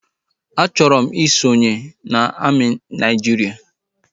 A chọrọ m isonye na amị Naịjiria